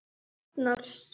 Egill þagnar fyrst.